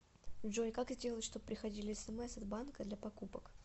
джой как сделать чтобы приходили смс от банка для покупок